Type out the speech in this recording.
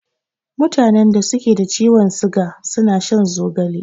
Mutanen da suke da ciwon siga suna shan zogale.